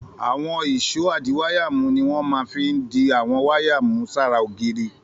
Àwọn ìṣó adiwáyàmú ni wọ́n fi máa ń di àwọn wáyà mú sára ògiri.